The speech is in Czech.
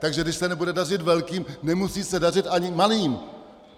Takže když se nebude dařit velkým, nemusí se dařit ani malým.